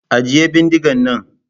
Ajiye bindigan nan!